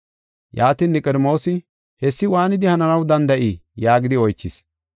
Yaatin Niqodimoosi, “Hessi waanidi hananaw danda7ii?” yaagidi oychis.